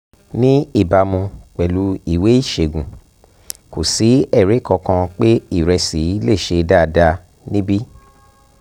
ní ìbámu pẹ̀lú ìwé ìṣègùn kò sí ẹ̀rí kankan pé ìrẹsì lè ṣe dáadáa níbí